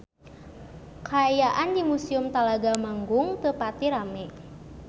Kaayaan di Museum Talaga Manggung teu pati rame